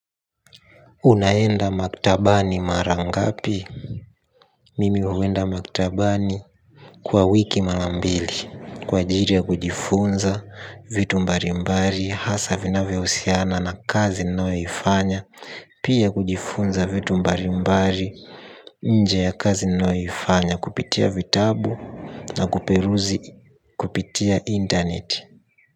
Unaenda maktabani marangapi. Mimi uwenda maktabani kwa wiki marambili. Kwa jiri ya kujifunza vitu mbarimbari hasa vinavyo usiana na kazi nayoifanya. Pia kujifunza vitu mbarimbari nje ya kazi nayo ifanya kupitia vitabu na kuperuzi kupitia internet.